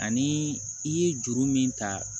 Ani i ye juru min ta